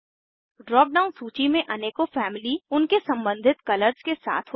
drop down सूची में अनेकों फैमिली उनके सम्बंधित कलर्स के साथ होती हैं